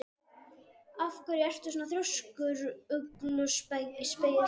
Af hverju ertu svona þrjóskur, Ugluspegill?